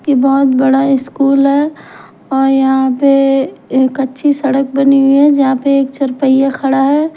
ये बहुत बड़ा इस्कूल है और अ यहाँ पे एक अच्छी सड़क बनी हुई है जहाँ पे एक चरपहिया खड़ा है।